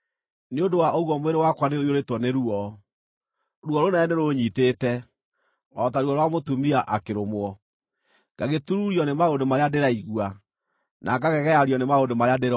Nĩ ũndũ wa ũguo mwĩrĩ wakwa nĩũiyũrĩtwo nĩ ruo, ruo rũnene nĩrũũnyiitĩte, o ta ruo rwa mũtumia akĩrũmwo; ngagĩtururio nĩ maũndũ marĩa ndĩraigua, na ngagegeario nĩ maũndũ marĩa ndĩrona.